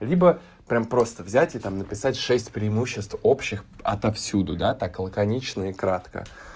либо прямо просто взять и там написать шесть преимуществ общих отовсюду да так лаконично и кратко